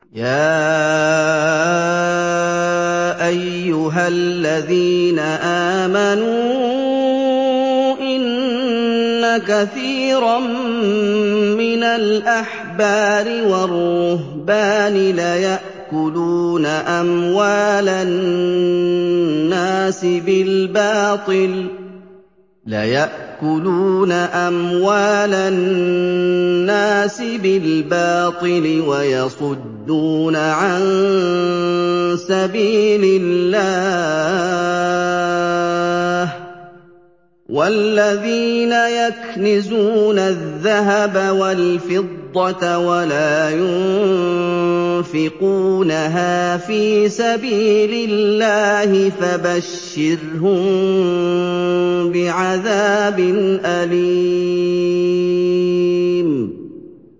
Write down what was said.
۞ يَا أَيُّهَا الَّذِينَ آمَنُوا إِنَّ كَثِيرًا مِّنَ الْأَحْبَارِ وَالرُّهْبَانِ لَيَأْكُلُونَ أَمْوَالَ النَّاسِ بِالْبَاطِلِ وَيَصُدُّونَ عَن سَبِيلِ اللَّهِ ۗ وَالَّذِينَ يَكْنِزُونَ الذَّهَبَ وَالْفِضَّةَ وَلَا يُنفِقُونَهَا فِي سَبِيلِ اللَّهِ فَبَشِّرْهُم بِعَذَابٍ أَلِيمٍ